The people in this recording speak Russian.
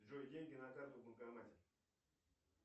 джой деньги на карту в банкомате